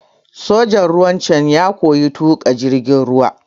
Sojan ruwan can ya koya tuƙa jirgin ruwa.